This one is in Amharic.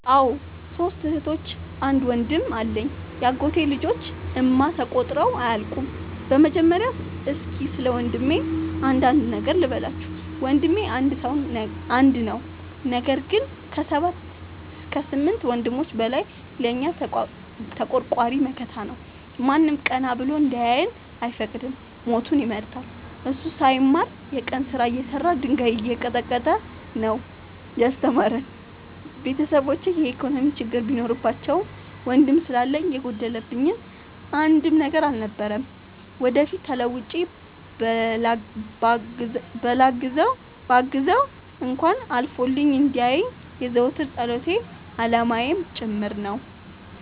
አዎ ሶስት እህቶች አንድ ወንድም አለኝ የአጎቴ ልጆች እማ ተቆጥረው አያልቁም። በመጀመሪያ እስኪ ስለወንድሜ አንዳንድ ነገር ልበላችሁ። ወንድሜ አንድ ነው ነገር ግን አሰባት ከስምንት ወንድሞች በላይ ለእኛ ተቆርቋሪ መከታ ነው። ማንም ቀና ብሎ እንዲያየን አይፈቅድም ሞቱን ይመርጣል። እሱ ሳይማር የቀን ስራ እየሰራ ድንጋይ እየቀጠቀጠ ነው። ያስተማረን ቤተሰቦቼ የኢኮኖሚ ችግር ቢኖርባቸውም ወንድም ስላለኝ የጎደለብኝ አንድም ነገር አልነበረም። ወደፊት ተለውጬ በላግዘው እንኳን አልፎልኝ እንዲየኝ የዘወትር ፀሎቴ አላማዬም ጭምር ነው።